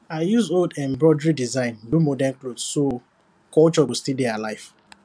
i use old embroidery design do modern cloth so culture go still dey alive